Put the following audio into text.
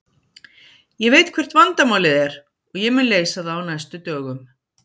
Ég veit hvert vandamálið er og ég mun leysa það á næstu dögum.